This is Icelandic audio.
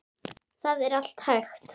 Það er allt hægt.